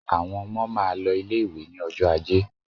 Àwọn ọmọ máa lọ ilé-ìwé ní ọjọ́ ajé.